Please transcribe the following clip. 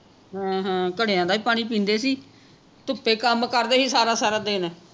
ਹਾਂ ਹਾਂ ਘੜੀਆਂ ਦਾ ਹੀ ਪਾਣੀ ਪੀਂਦੇ ਸੀ ਧੁੱਪੇ ਕੰਮ ਕਰਦੇ ਸੀ ਸਾਰਾ ਸਾਰਾ ਦਿਨ